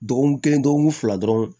Dɔgɔkun kelen dɔgɔkun fila dɔrɔn